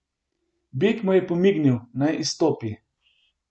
Beg mu je pomignil, naj izstopi.